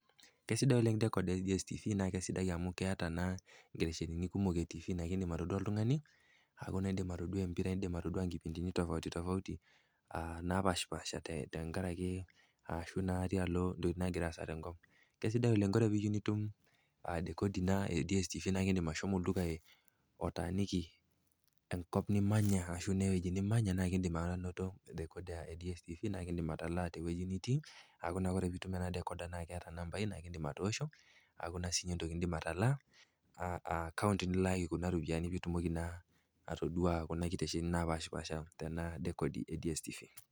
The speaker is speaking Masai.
Kesidai oleng decoda e tv naa kesidai amu keata naa inkitesheni kumok nindim atodua oltung'ani, indim atodua empira, indim atodua inkipindini tofauti tofauti naapaashipashaa tenkarake ashu naa tialo intokitin nagira aasa tenkop. Kesidai oleng, ore pee iyeu nitum decoda ino e tv naa indim ashomo olduka otaaniki enkop nimanya anaa ewueji nimanya naa indim ainoto decoda e DSTV naa indim atalaa tewueji nitii aaku ore ena decoda naa eata inambai naa inim atoosho aaku naa siininye entoki nindim atalaa, a akaunt nilaaki kuna rupian piitumoki naa atodua kuna kitesheni naapaashipaasha tena decoda e DSTV.